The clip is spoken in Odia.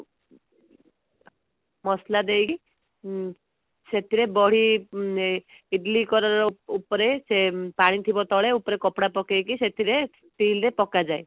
ମସଲା ଦେଇକି ସେଥିରେ ବଢି ଇଡିଲି କଡ଼ର ଉପରେ ସେ ପାଣି ଥିବ ତଳେ ଉପରେ କପଡା ପକେଇକି ସେଥିରେ still ରେ ପକାଯାଏ